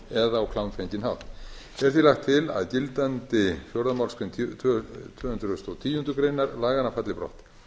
eða á klámfenginn hátt er því lagt til að gildandi fjórðu málsgrein tvö hundruð og tíundu grein laganna falli brott